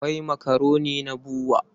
Akwai makaroni na BUA.